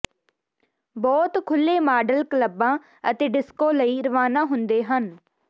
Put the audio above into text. ਬਹੁਤ ਖੁੱਲ੍ਹੇ ਮਾਡਲ ਕਲੱਬਾਂ ਅਤੇ ਡਿਸਕੋ ਲਈ ਰਵਾਨਾ ਹੁੰਦੇ ਹਨ